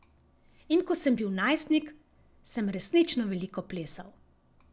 In ko sem bil najstnik, sem resnično veliko plesal.